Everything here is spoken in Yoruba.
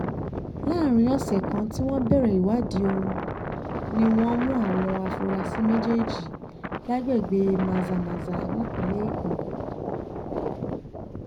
láàrin ọ̀sẹ̀ kan tí wọ́n bẹ̀rẹ̀ ìwádìí ọ̀hún ni wọ́n mú àwọn afurasí méjèèjì lágbègbè mazamaza nípìnlẹ̀ èkó